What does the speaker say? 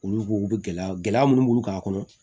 Olu b'u u bɛ gɛlɛya gɛlɛya minnu b'u ka kɔnɔ